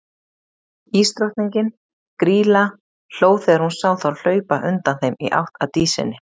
Ísdrottningin, Grýla, hló þegar hún sá þá hlaupa undan þeim í átt að Dísinni.